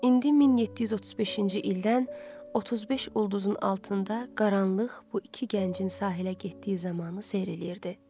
İndi 1735-ci ildən 35 ulduzun altında qaranlıq bu iki gəncin sahilə getdiyi zamanı seyr eləyirdi.